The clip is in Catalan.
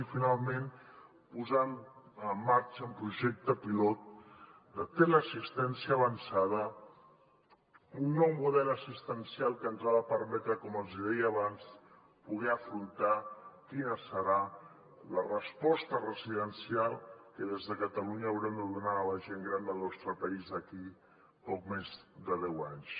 i finalment posar en marxa un projecte pilot de teleassistència avançada un nou model assistencial que ens ha de permetre com els deia abans poder afrontar quina serà la resposta residencial que des de catalunya haurem de donar a la gent gran del nostre país d’aquí a poc més de deu anys